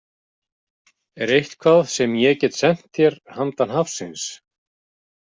Er eitthvað sem ég get sent þér handan hafsins?